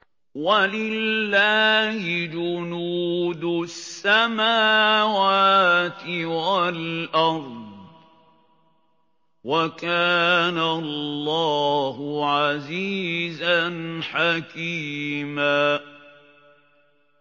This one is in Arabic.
وَلِلَّهِ جُنُودُ السَّمَاوَاتِ وَالْأَرْضِ ۚ وَكَانَ اللَّهُ عَزِيزًا حَكِيمًا